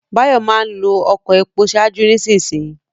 Báyọ̀ máa ń lo ọkọ epo ṣáájú nísinsìnyí